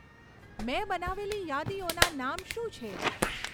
મેં બનાવેલી યાદીઓના નામ શું છે